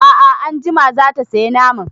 A'a anjima zata saya naman